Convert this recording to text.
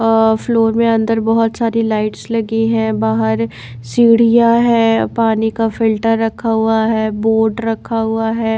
Floor में अंदर बहोत सारी लाइट्स लगी है। बाहर सीढ़ियां है पानी का फिल्टर रखा हुआ है बोर्ड रखा हुआ है।